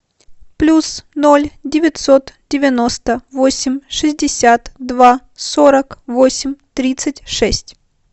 плюс ноль девятьсот девяносто восемь шестьдесят два сорок восемь тридцать шесть